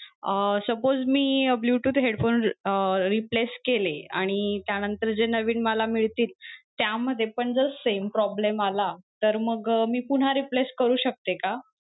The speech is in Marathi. अं suppose मी bluetooth headphone अं replace केले आणि त्यानंतर जे नवीन मला मिळतील, त्यामध्ये पण जर same problem आला, तर मग मी पुन्हा replace करू शकते का?